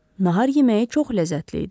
Nahar yeməyi çox ləzzətli idi.